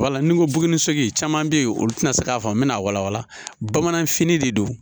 Wala ni n ko buguni caman bɛ ye olu tɛna se k'a fɔ n bɛna wala wala bamananfini de don